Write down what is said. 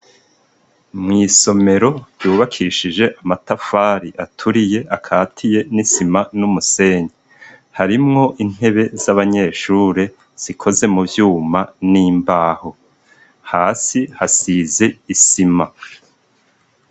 Mw' isomero yubakishije amatafari aturiye akatiye n'isima n'umusenyi harimwo intebe z'abanyeshure zikoze mu vyuma n'imbaho, hasi hasize isima.